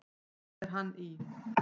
Svo er hann í